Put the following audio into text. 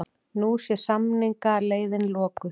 Nú sé samningaleiðin lokuð